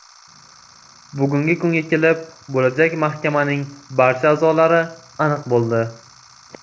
Bugungi kunga kelib bo‘lajak mahkamaning barcha a’zolari aniq bo‘ldi.